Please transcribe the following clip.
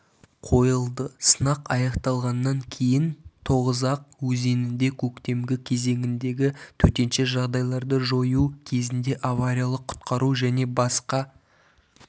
қойылды сынақ аяқталғаннан кейін тоғызақ өзенінде көктемгі кезеңіндегі төтенше жағдайларды жою кезінде авариялық-құтқару және басқа